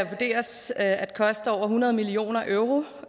vurderes at koste over hundrede million euro